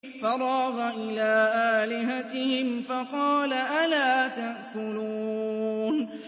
فَرَاغَ إِلَىٰ آلِهَتِهِمْ فَقَالَ أَلَا تَأْكُلُونَ